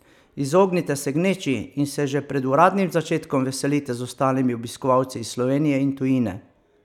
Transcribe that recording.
Izognite se gneči in se že pred uradnim začetkom veselite z ostalimi obiskovalci iz Slovenije in tujine!